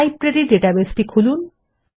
library ডাটাবেসটি খুলুন